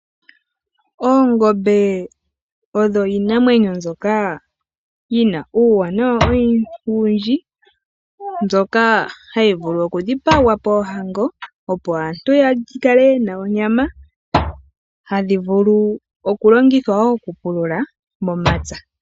Oongombe odho iinamwenyo mbyoka yina uuwanawa owundji, mbyoka hayi vulu okutselwa poohango opo aantu yakale yena onyama. Ohadhi vulu okulongithwa woo momapya okupulula.